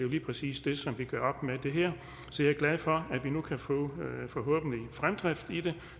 lige præcis det som vi gør op med her så jeg er glad for at vi nu forhåbentlig kan få fremdrift i det